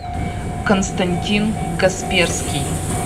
константин касперский